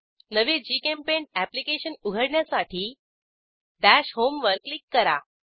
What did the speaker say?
नवे जीचेम्पेंट अॅप्लिकेशन उघडण्यासाठी दश होम वर क्लिक करा